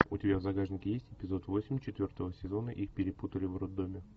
у тебя в загашнике есть эпизод восемь четвертого сезона их перепутали в роддоме